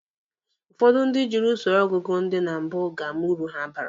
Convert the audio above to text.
Ụfọdụ ndị jiri usoro ọgụgụ ndị na mbụ ga-ama uru ha bara.